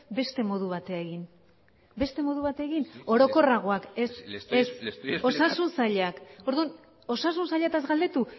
beste modu batera egin beste modu batera egin orokorragoak le estoy explicando ez osasun sailak orduan osasun sailataz galdetu